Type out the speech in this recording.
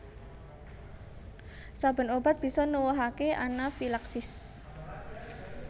Saben obat bisa nuwuhake anafilaksis